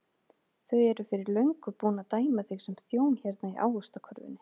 Þau eru fyrir löngu búin að dæma þig sem þjón hérna í ávaxtakörfunni.